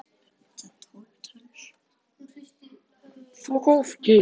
Hún hristi höfuðið sorgmædd og hneyksluð.